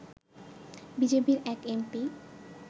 বিজেপির এক এমপি